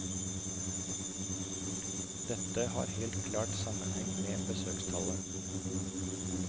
Dette har helt klart sammenheng med besøkstallet.